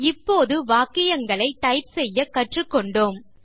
இப்போது வாக்கியங்களை டைப் செய்ய கற்றுக்கொண்டோம்